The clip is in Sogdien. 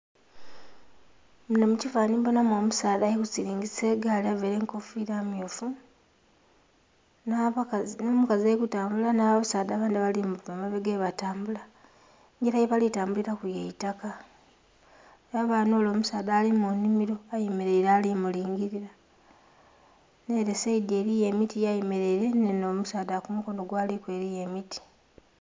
Munho mu kifananhi mbonhamu omusaadha ali silingisa egaali avaire enkofira mmyufu nha bakazi nho mukazi ali kutambula nha basaadha abandhi abali muba emabega bwe batambula engila ye bali tambulilaku yaitaka , ghabayo nhole omusaadha ali mu nhimiro ayemereire ali mulingilila nhele saidhi eliyo emiti ya yemereire nhe nho omusaadha yali eliyo emiti.